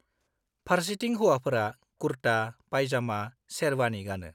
फारसेथिं हौवाफोरा कुर्ता, पाइजामा, शेरबानि गानो।